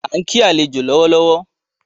A n kí àlejò lọ́wọ́